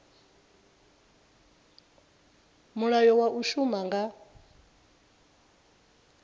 mulayo wa u shuma nga